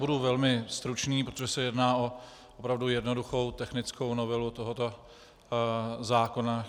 Budu velmi stručný, protože se jedná opravdu o jednoduchou technickou novelu tohoto zákona.